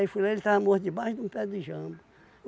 Aí fui lá, ele estava morto debaixo de um pé de jambo.